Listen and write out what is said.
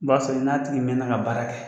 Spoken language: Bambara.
B'a sɔrɔ i n'a tigi mɛn na ka baara kɛ.